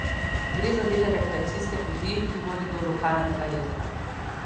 Gre za del rekreacijske poti, ki vodi do lokalnega jezera.